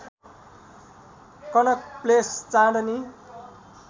Connaught Place Chandni